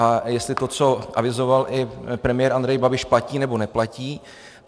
A jestli to, co avizoval i premiér Andrej Babiš, platí, nebo neplatí.